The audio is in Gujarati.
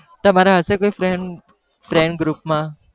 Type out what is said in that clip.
તમારા હશે કોઈ friend friend group માં